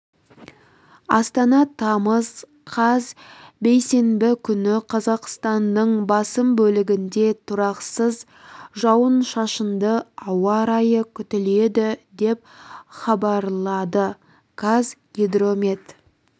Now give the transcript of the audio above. астана тамыз қаз бейсенбі күні қазақстанның басым бөлігінде тұрақсыз жауын-шашынды ауа райы күтіледі деп хабарлады қазгидромет